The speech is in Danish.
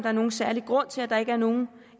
er nogen særlig grund til at der ikke er nogen